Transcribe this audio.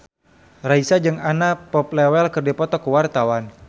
Raisa jeung Anna Popplewell keur dipoto ku wartawan